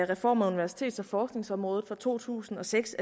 reform af universitets og forskningsområdet der to tusind og seks